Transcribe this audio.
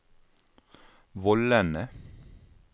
vollene